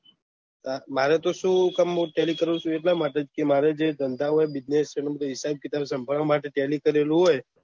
મારે તો શું તમને ટેલી કરવું થું એટલા માટે કે મારે ધંધા માં business શામ્બડવા માટે ટેલી કરેલું હોય